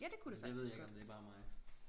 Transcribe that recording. Det ved jeg ikke om det bare er mig